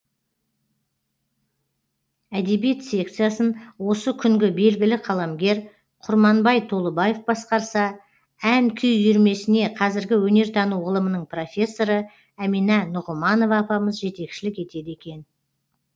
әдебиет секциясын осы күнгі белгілі қаламгер құрманбай толыбаев басқарса ән күй үйірмесіне қазіргі өнертану ғылымының профессоры әмина нұғыманова апамыз жетекшілік етеді екен